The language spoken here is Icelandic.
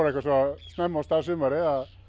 svo snemma af stað sumarið